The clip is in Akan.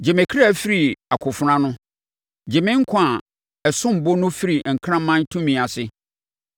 Gye me kra firi akofena ano; gye me nkwa a ɛsom bo no firi nkraman tumi ase.